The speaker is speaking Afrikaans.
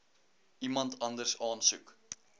iemand anders aansoek